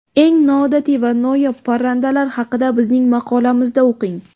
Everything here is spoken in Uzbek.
Eng noodatiy va noyob parrandalar haqida bizning maqolamizda o‘qing.